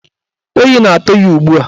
Oyi na-atụ ya ugbua.